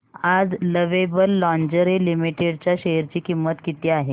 आज Lovable Lingerie Limited च्या share ची किंमत किती आहे